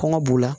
Kɔngɔ b'u la